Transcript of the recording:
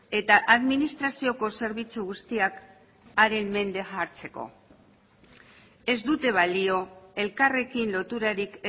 eta administrazioko zerbitzu guztiak haren mende jartzeko ez dute balio elkarrekin loturarik